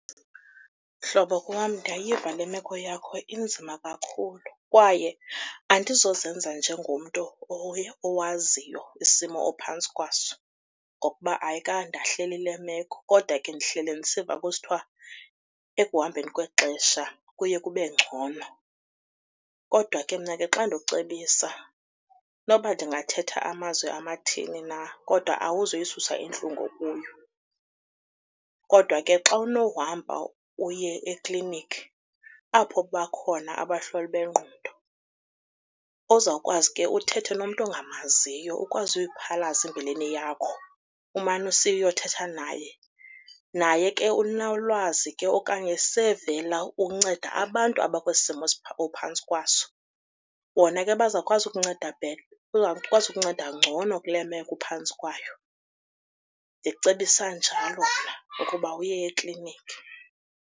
Mhlobo wam, ndiyayiva le meko yakho, inzima kakhulu kwaye andizozenza njengomntu owaziyo isimo ophantsi kwaso ngokuba ayikandahleli le meko. Kodwa ke ndihlele ndisiva kusithiwa ekuhambeni kwexesha kuye kube ngcono, kodwa ke mna ke xa ndikucebisa noba ndingathetha amazwi amathini na kodwa awuzuyisusa intlungu okuyo. Kodwa ke xa unohamba uye eklinikhi apho bakhona abahloli bengqondo ozawukwazi ke uthethe nomntu ongamaziyo ukwazi uyiphalaza imbilini yakho umane usiya uyothetha naye. Naye ke unolwazi ke okanye sevela unceda abantu abakwesi simo ophantsi kwaso. Bona ke bazawukwazi ukunceda bazawukwazi ngcono kule meko uphantsi kwayo. Ndikucebisa njalo mna ukuba uye eklinikhi.